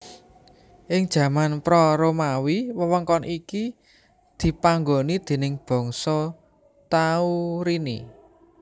Ing jaman pra Romawi wewengkon iki dipanggoni déning bangsa Taurini